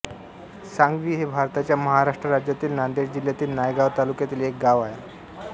सांगवी हे भारताच्या महाराष्ट्र राज्यातील नांदेड जिल्ह्यातील नायगाव तालुक्यातील एक गाव आहे